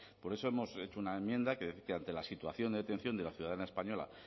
por eso hemos hecho una enmienda que ante la situación de detención de la ciudadana española